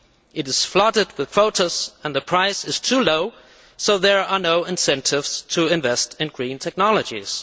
It is flooded with quotas and the price is too low, so there are no incentives to invest in green technologies.